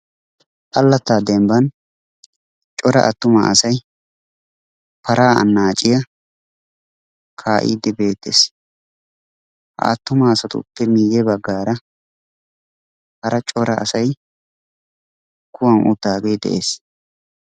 Allattaa demban cora attuma asay paraa anaacciya kaa'iidi beettees. Ha attuma asatuppe miye bagaara hara cora asay kuwan uttaagee dees.